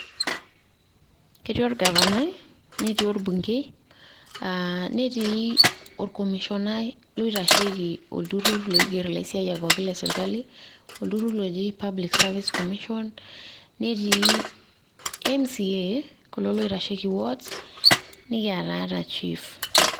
Ketii orgavanai, netii orbungei, ah netii orkomisionai loitasheki olturrur loiger ilaisiaya pookin le sirkali, olturrur loji public service commission ,netii MCA, kulo loitasheki ward. Nikiata chief.